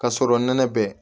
Ka sɔrɔ nɛnɛ bɛ